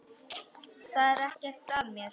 Það er ekkert að mér.